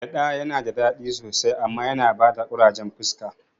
Gyaɗa nada dadi sosai amma yana bada ƙurajen fuska